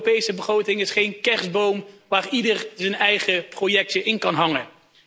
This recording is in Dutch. De Europese begroting is geen kerstboom waar ieder zijn eigen projectje in kan hangen.